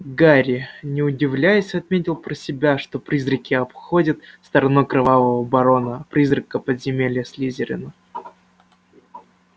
гарри не удивляясь отметил про себя что призраки обходят стороной кровавого барона призрака подземелья слизерина